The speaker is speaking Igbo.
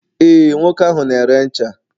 ee, nwoke ahu na-ere ncha